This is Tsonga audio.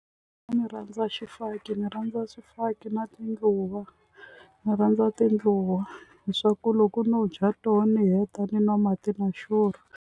Ni rhandza xifaki ni rhandza xifaki na tindluwa ni rhandza tindluwa hi swa ku loko no dya tona ni heta ni nwa mati na xurha.